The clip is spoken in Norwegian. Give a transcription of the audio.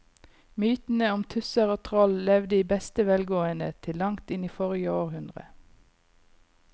Mytene om tusser og troll levde i beste velgående til langt inn i forrige århundre.